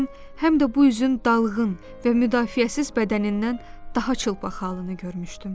Mən həm də bu üzün dalğın və müdafiəsiz bədənindən daha çılpaq halını görmüşdüm.